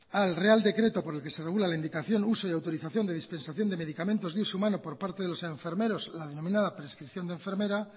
al real decreto por el que se regula la indicación uso y autorización de dispensación de medicamentos de uso humano por parte de los enfermeros la denominada prescripción de enfermera